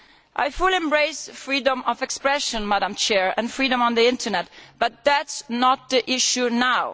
I fully embrace freedom of expression and freedom on the Internet, but that is not the issue now.